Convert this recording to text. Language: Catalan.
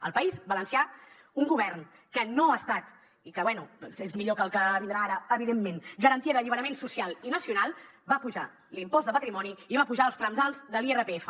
al país valencià un govern que no ha estat i que bé és millor que el que vindrà ara evidentment garantia d’alliberament social i nacional va apujar l’impost de patrimoni i va apujar els trams alts de l’irpf